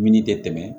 Mini tɛ tɛmɛ